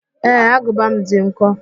Ee, agụba m dị nkọ